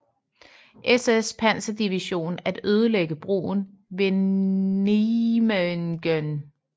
SS Panserdivision at ødelægge broen ved Nijmegen